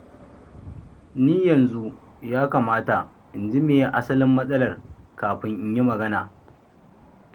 Ni yanzu ya kamata in ji me ye asalin matsalar, kafin in yi magana.